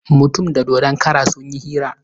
Mutum da dodon kara sun yi hira.